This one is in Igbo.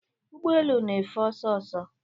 Ụgbọ elu na-efe ọsọ ọsọ